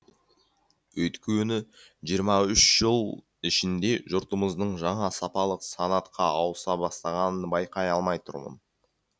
өйткені жиырма үш жыл ішінде жұртымыздың жаңа сапалық санатқа ауыса бастағанын байқай алмай тұрмын